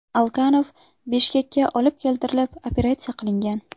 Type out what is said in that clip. Alkanov Bishkekka olib keltirilib, operatsiya qilingan.